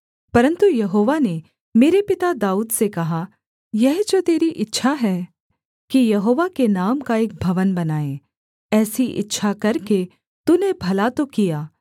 परन्तु यहोवा ने मेरे पिता दाऊद से कहा यह जो तेरी इच्छा है कि यहोवा के नाम का एक भवन बनाए ऐसी इच्छा करके तूने भला तो किया